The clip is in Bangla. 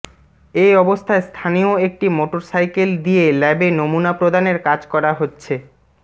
এ অবস্থায় স্থানীয় একটি মোটরসাইকেল দিয়ে ল্যাবে নমুনা প্রদানের কাজ করা হচ্ছে